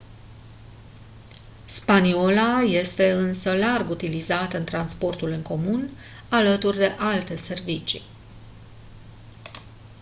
spaniola este însă larg utilizată în transportul în comun alături de alte servicii